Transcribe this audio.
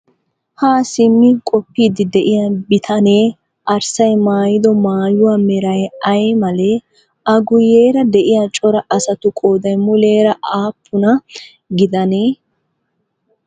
Haa simmi qoppiiddi diyaa bitanee arssay maayido maayuwa meray ayi malee? A guyeera de'iyaa cora asatu qooday muleera aappuna gidanee?